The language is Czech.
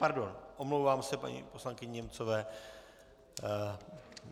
Pardon, omlouvám se paní poslankyni Němcové.